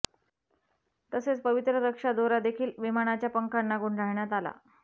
तसेच पवित्र रक्षा दोरा देखील विमानाच्या पंखांना गुंढाळण्यात आला